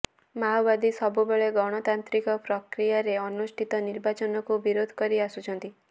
ମାଓବାଦୀ ସବୁବେଳେ ଗଣତାନ୍ତ୍ରିକ ପ୍ରକ୍ରିୟାରେ ଅନୁଷ୍ଠିତ ନିର୍ବାଚନକୁ ବିରୋଧ କରି ଆସୁଛନ୍ତି